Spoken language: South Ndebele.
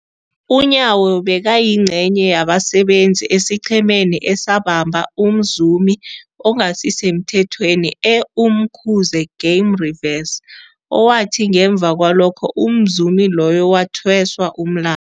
UNyawo bekayingcenye yabasebenza esiqhemeni esabamba umzumi ongasisemthethweni e-Umkhuze Game Reserve, owathi ngemva kwalokho umzumi loyo wathweswa umla